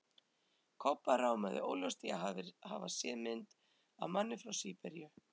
Kobba rámaði óljóst í að hafa séð mynd af manni frá SÍBERÍU.